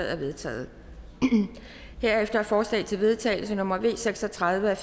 er vedtaget herefter er forslag til vedtagelse nummer v seks og tredive af